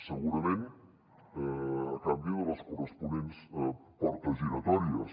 segurament a canvi de les corresponents portes giratòries